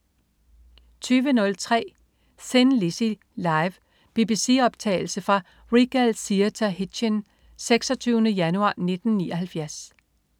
20.03 Thin Lizzy. Live. BBC-optagelse fra Regal Theatre Hitchin, 26. januar 1979